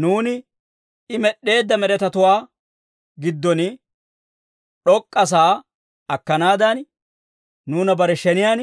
Nuuni I med'd'eedda med'etatuwaa giddon d'ok'k'asaa akkanaadan, nuuna bare sheniyaan